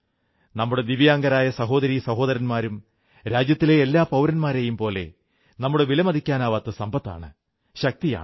നമ്മുടെ ദിവ്യാംഗരായ സഹോദരീ സഹോദരന്മാരും രാജ്യത്തിലെ എല്ലാ പൌരന്മാരെയും പോലെ നമ്മുടെ വിലമതിക്കാനാവാത്ത സമ്പത്താണ് ശക്തിയാണ്